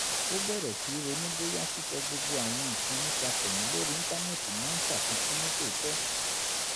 ó bẹ̀rẹ̀ sí í ronú bóyá sísọ gbogbo àwọn nǹkan nípa tẹ̀mí lórí íńtánẹ́ẹ̀tì máa ń ṣàfikún ní tòótọ́